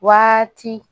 Waati